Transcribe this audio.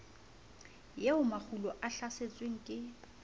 eo makgulo a hlasetsweng ke